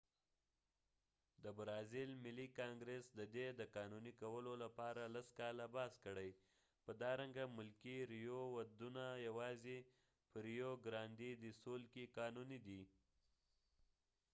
د برازیل ملي کانګرس ددې د قانونی کولو لپاره لس کاله بحث کړي په دا رنګ ملکې ودونه یوازې په ریو ګرانډی ډی سول rio grande do sur کې قانونی دي